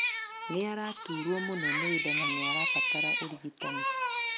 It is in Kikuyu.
Nĩaraturwo mũno nĩ nda na nĩarabatara ũrigitani